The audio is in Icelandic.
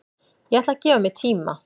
Ég ætla að gefa mér tíma